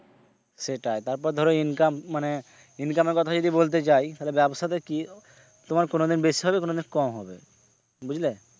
সেটাই তারপর ধরো income মানে income এর কথা যদি বলতে যাই তাহলে ব্যবসা তে কি তোমার কোনোদিন বেশি হবে কোনোদিন কম হবে বুঝলে?